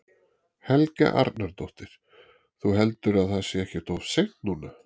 Helga Arnardóttir: Þú heldur að það sé ekkert of seint núna?